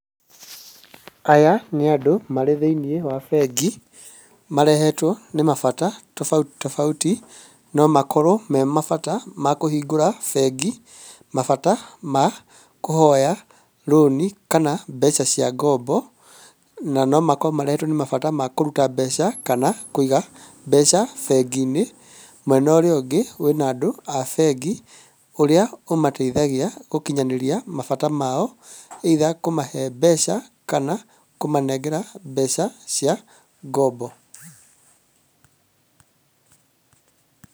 Aya nĩ andũ marĩ thĩiniĩ wa bengi marehetwo nĩ mabata tofauti tofauti, no makorwo memabata ma kũhingũra bengi, mabata ma kũhoya rũni kana mbeca cia ngombo, na nomakorwo marehetwo nĩ mabata ma kũruta mbeca kana kũiga mbeca bengi-inĩ. Mwena ũrĩa ũngĩ wĩna andũ a bengi, ũrĩa ũmateithagia gũkinyanĩria mabata mao, either kũmahe mbeca kana kũmanengera mbeca cia ngombo .